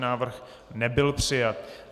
Návrh nebyl přijat.